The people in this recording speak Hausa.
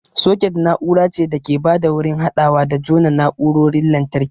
Soket na'ura ce da ke ba da wurin haɗawa da jona na'urarorin lantarki.